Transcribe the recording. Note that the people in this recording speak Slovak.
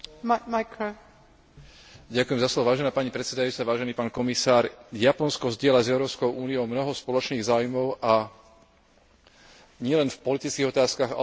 Vážená pani predsedajúca, vážený pán komisár, Japonsko zdieľa s Európskou úniou mnoho spoločných záujmov, a to nielen v politických otázkach, ale aj v oblasti ekonomickej a obchodnej spolupráce.